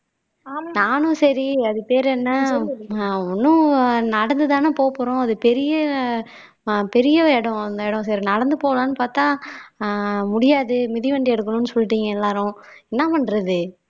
நானும் சரி அது பேர் என்ன நான் ஓன்னும் நடந்துதானே போப்போறோம் அது பெரிய பெரிய இடம் அந்த இடம் சரி நடந்து போலாம்னு பார்த்தா அஹ் முடியாது மிதிவண்டி எடுக்கணும்னு சொல்லிட்டீங்க எல்லாரும் என்ன பண்றது